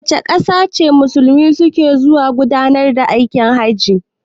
Wace ƙasa ce Musulmai su ke zuwa gudanar da aikin hajji?